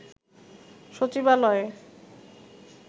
সচিবালয়ে